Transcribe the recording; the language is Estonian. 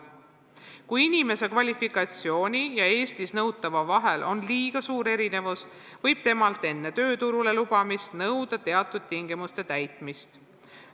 Kui inimese kvalifikatsiooni ja Eestis nõutava vahel on liiga suur erinevus, võib temalt enne tööturule lubamist nõuda teatud tingimuste täitmist.